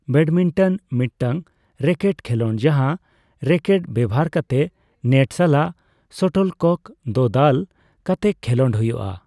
Badminton ᱢᱤᱫᱴᱟᱝ racket ᱠᱷᱮᱞᱚᱸᱰ ᱡᱟᱸᱦᱟ ᱨᱮᱠᱮᱴ ᱵᱮᱵᱷᱟᱨ ᱠᱟᱛᱮ ᱱᱮᱴ ᱥᱟᱞᱟᱜ ᱥᱚᱴᱚᱞᱠᱚᱠ ᱫᱚ ᱫᱟᱞ ᱠᱟᱛᱮ ᱠᱷᱮᱞᱚᱸᱰ ᱦᱩᱭᱩᱜᱼᱟ ᱾